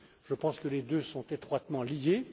Je pense que les deux sont étroitement liés.